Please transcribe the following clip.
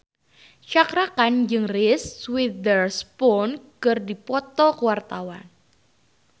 Cakra Khan jeung Reese Witherspoon keur dipoto ku wartawan